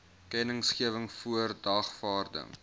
kennisgewing voor dagvaarding